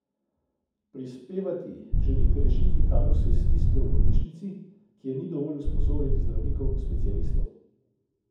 Prispevati želi k rešitvi kadrovske stiske v bolnišnici, kjer ni dovolj usposobljenih zdravnikov specialistov.